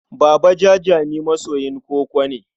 Baba Jajami masoyin koko ne.